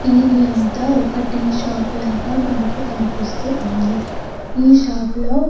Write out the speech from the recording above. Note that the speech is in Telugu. ఇది అంత ఒక టీ షాప్ లాగా మనకు కనిపిస్తూ ఉంది. ఈ షాప్ లో --